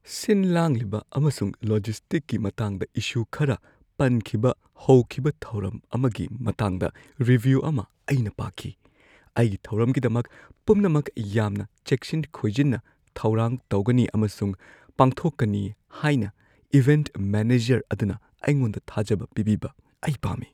ꯁꯤꯟ-ꯂꯥꯡꯂꯤꯕ ꯑꯃꯁꯨꯡ ꯂꯣꯖꯤꯁꯇꯤꯛꯀꯤ ꯃꯇꯥꯡꯗ ꯏꯁꯨ ꯈꯔ ꯄꯟꯈꯤꯕ ꯍꯧꯈꯤꯕ ꯊꯧꯔꯝ ꯑꯃꯒꯤ ꯃꯇꯥꯡꯗ ꯔꯤꯚ꯭ꯌꯨ ꯑꯃ ꯑꯩꯅ ꯄꯥꯈꯤ꯫ ꯑꯩꯒꯤ ꯊꯧꯔꯝꯒꯤꯗꯃꯛ ꯄꯨꯝꯅꯃꯛ ꯌꯥꯝꯅ ꯆꯦꯛꯁꯤꯟ-ꯈꯣꯏꯖꯤꯟꯅ ꯊꯧꯔꯥꯡ ꯇꯧꯒꯅꯤ ꯑꯃꯁꯨꯡ ꯄꯥꯡꯊꯣꯛꯀꯅꯤ ꯍꯥꯏꯅ ꯏꯚꯦꯟꯠ ꯃꯦꯅꯦꯖꯔ ꯑꯗꯨꯅ ꯑꯩꯉꯣꯟꯗ ꯊꯥꯖꯕ ꯄꯤꯕꯤꯕ ꯑꯩ ꯄꯥꯝꯃꯤ꯫